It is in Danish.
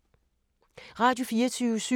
Radio24syv